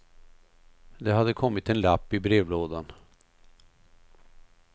Det hade kommit en lapp i brevlådan.